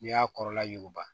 N'i y'a kɔrɔla yuguba